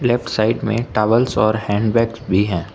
Left side में towels और hand bags भी हैं।